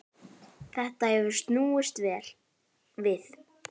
Þetta hefur snúist við.